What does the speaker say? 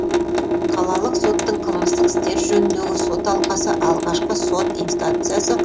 қалалық соттың қылмыстық істер жөніндегі сот алқасы алғашқы сот инстанциясы